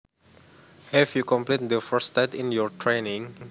Have you completed the first stage in your training